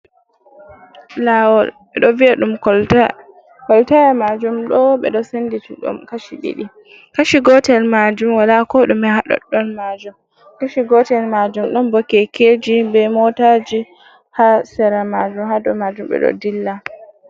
Lawol, ɓeɗo vi’a ɗum kolta. koltaya majum ɗo ɓeɗo senditi ɗum kashi ɗiɗi, kashi gotel majum wala ko ɗume ha ɗoɗɗon majum. kashi gotel majum ɗon bo kekeji be motaji ha sera majum hadow majum be do dilla.